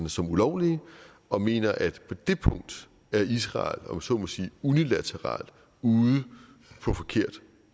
som ulovlige og mener at på det punkt er israel om jeg så må sige unilateralt ude på forkert